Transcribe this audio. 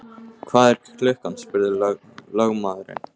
Hvað er klukkan? spurði lögmaðurinn.